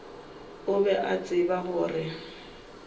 o be a tseba gore